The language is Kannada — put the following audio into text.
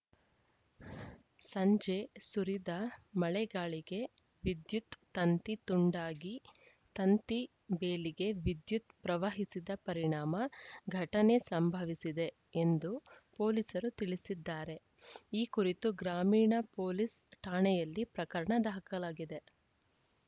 ಸಂಜೆ ಸುರಿದ ಮಳೆಗಾಳಿಗೆ ವಿದ್ಯುತ್‌ ತಂತಿ ತುಂಡಾಗಿ ತಂತಿ ಬೇಲಿಗೆ ವಿದ್ಯುತ್‌ ಪ್ರವಹಿಸಿದ ಪರಿಣಾಮ ಘಟನೆ ಸಂಭವಿಸಿದೆ ಎಂದು ಪೊಲೀಸರು ತಿಳಿಸಿದ್ದಾರೆ ಈ ಕುರಿತು ಗ್ರಾಮೀಣ ಪೊಲೀಸ್‌ ಠಾಣೆಯಲ್ಲಿ ಪ್ರಕರಣ ದಾಖಲಾಗಿದೆ